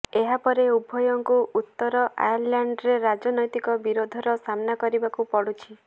ଏହାପରେ ଉଭୟଙ୍କୁ ଉତ୍ତର ଆୟର୍ଲାଣ୍ଡରେ ରାଜନୈତିକ ବିରୋଧର ସାମ୍ନା କରିବାକୁ ପଡ଼ୁଛି